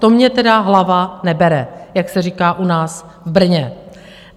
To mně tedy hlava nebere, jak se říká u nás v Brně.